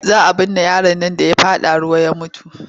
Za a binne yaron nan da ya faɗa ruwa ya mutu.